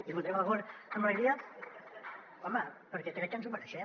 i hi votarem a favor amb alegria home perquè crec que ens ho mereixem